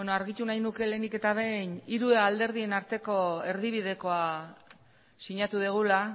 argitu nahi nuke lehenik eta behin hiru alderdien arteko erdibidekoa sinatu dugula